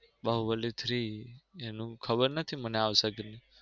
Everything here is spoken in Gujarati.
બાહુબલી three એનું ખબર નથી મને આવશે કે નઈ.